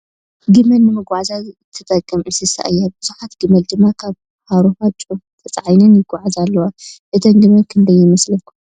ግመል ንመጎዓዝያ ትጠቅም እንስሳ እያ ። ብዙሓት ግመል ድማ ካብ ሃርሆ ጨው ተፃዒነን ይጎዓዛ ኣለዋ ።እተን ግመል ክንደይ ይመስላኩም ?